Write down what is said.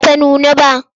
Ba ta nuna ba.